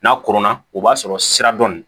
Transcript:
N'a koronna o b'a sɔrɔ sira dɔ